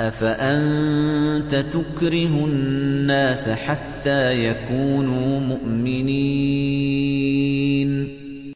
أَفَأَنتَ تُكْرِهُ النَّاسَ حَتَّىٰ يَكُونُوا مُؤْمِنِينَ